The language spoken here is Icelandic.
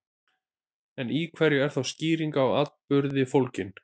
En í hverju er þá skýring á atburði fólgin?